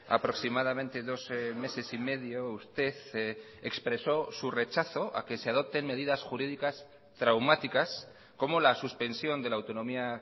aproximadamente dos meses y medio usted expresó su rechazo a que se adopten medidas jurídicas traumáticas como la suspensión de la autonomía